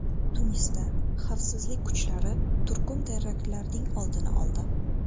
Tunisda xavfsizlik kuchlari turkum teraktlarning oldini oldi.